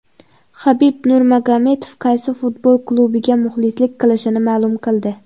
Habib Nurmagomedov qaysi futbol klubiga muxlislik qilishini ma’lum qildi.